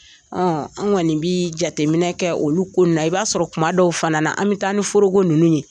Ɔ an kɔni bi jateminɛ kɛ olu ko in na i b'a sɔrɔ kuma dɔw fana na an bɛ taa ni forogo ninnu ye